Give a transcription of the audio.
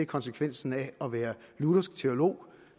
konsekvensen af at være luthersk teolog